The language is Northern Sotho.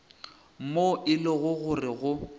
moo e lego gore go